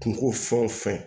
Kungo fɛn o fɛn